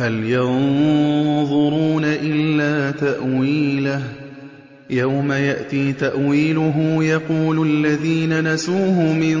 هَلْ يَنظُرُونَ إِلَّا تَأْوِيلَهُ ۚ يَوْمَ يَأْتِي تَأْوِيلُهُ يَقُولُ الَّذِينَ نَسُوهُ مِن